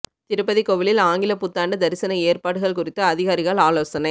திருப்பதி கோவிலில் ஆங்கில புத்தாண்டு தரிசன ஏற்பாடுகள் குறித்து அதிகாரிகள் ஆலோசனை